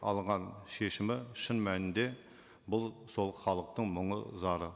алынған шешімі шын мәнінде бұл сол халықтың мұңы зары